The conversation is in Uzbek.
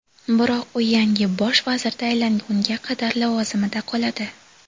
Biroq u yangi Bosh vazir tayinlangunga qadar lavozimida qoladi.